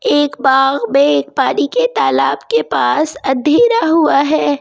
एक बाग में एक पानी के तालाब के पास अंधेरा हुआ है।